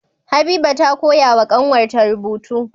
Habiba ta koya wa kanwar ta rubutu